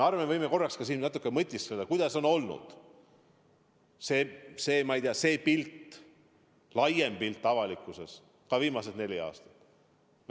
Me võime korraks ka siin natukene mõtiskleda, milline on olnud see, ma ei tea, laiem pilt avalikkuses viimased neli aastat.